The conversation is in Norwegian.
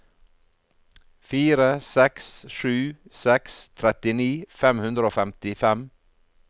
fire seks sju seks trettini fem hundre og femtifem